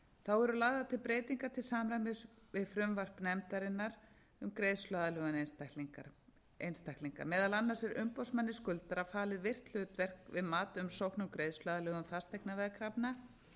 þá eru lagðar til breytingar til samræmis við frumvarp nefndarinnar um greiðsluaðlögun einstaklinga meðal annars er umboðsmanni skuldara falið virkt hlutverk við mat umsókna um greiðsluaðlögun fasteignaveðkrafna